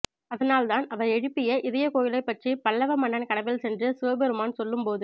அதனால் தான் அவர் எழுப்பிய இதயக் கோயிலைப் பற்றி பல்லவ மன்னன் கனவில் சென்றது சிவபெருமான் சொல்லும்போது